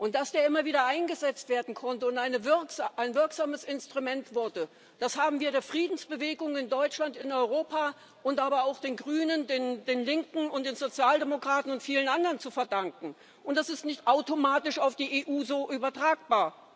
Dass der immer wieder eingesetzt werden konnte und ein wirksames Instrument wurde, das haben wir der Friedensbewegung in Deutschland, in Europa, aber auch den Grünen, den Linken und den Sozialdemokraten und vielen anderen zu verdanken, und das ist so nicht automatisch auf die EU übertragbar.